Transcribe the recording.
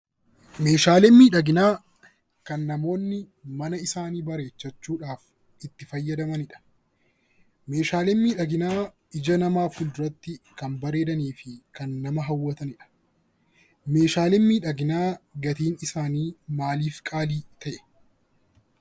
Meeshaaleen miidhaginaa kan namoonni mana isaanii bareeffachuudhaaf itti fayyadamanidha. Meeshaaleen miidhaginaa ija namaa fulduraatti kan bareedanii fi kan nama hawwatanidha. Meeshaaleen miidhaginaa gatiin isaanii maaliif qaalii ta'e?